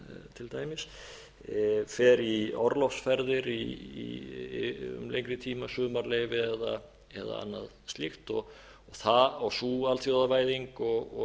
til dæmis fer í orlofsferðir í lengri tíma sumarleyfi eða annað slíkt sú alþjóðavæðing og